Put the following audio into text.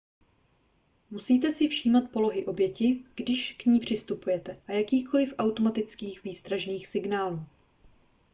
musíte si všímat polohy oběti když k ní přistupujete a jakýchkoli automatických výstražných signálů